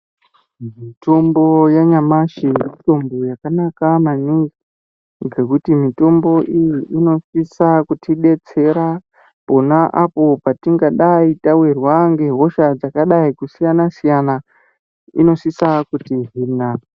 Mitombo yanyamashi mitombo yakanaka maningi, ngekuti mitombo iyi inosisa kutidetsera pona apo patingadai tawirwa ngehosha dzakadai kusiyana-siyana inosisa kuti hina.